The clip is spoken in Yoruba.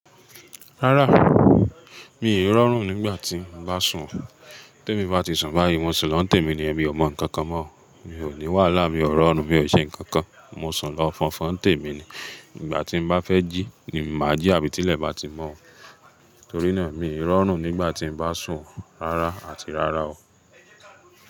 Rárá, mi ò rọrùn nígbà tí ń bá sùn. Tí èmi bá ti sùn báyìí, wọ́n sì lọ tẹ̀ mí ni èmi ò mọ ǹkankan mọ́. Mi ò ní wàhálà, mi ò rọrùn, mi ò ṣe ǹkan kan. Mo sùn lọ fọnfọn n tẹ̀ mí ni. Nígbà tí ń bá fẹ́ jí ni mà á jí àbí tí ilẹ̀ bá ti mọ́. Torí náà, mi ò rọrùn nígbà tí ń bá sùn rárá àti rárá o.